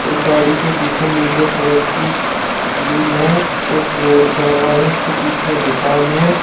गाड़ी के पीछे नीले कलर की ग्रील है और रोड जा रहा है उसके पीछे दुकान है।